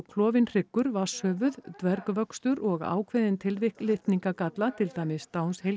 klofinn hryggur vatnshöfuð dvergvöxtur og ákveðin tilvik litningagalla til dæmis